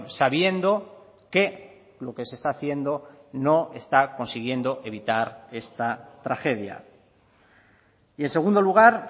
sabiendo que lo que se está haciendo no está consiguiendo evitar esta tragedia y en segundo lugar